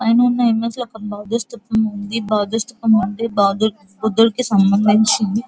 పైన ఉన్న ఇమేజ్ లో ఒక బుద్ధుని స్థూపం ఉంది. బుద్ధునికి సంబంధించింది --